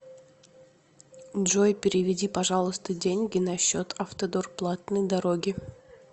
джой переведи пожалуйста деньги на счет автодор платные дороги